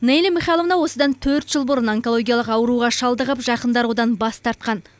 неля михайловна осыдан төрт жыл бұрын онкологиялық ауруға шалдығып жақындары одан бас тартқан